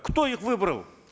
кто их выбрал